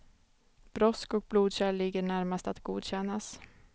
Brosk och blodkärl ligger närmast att godkännas.